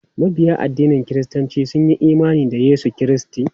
Mabiya addinin kiristanci sun yi imani da Yesu Kiristi.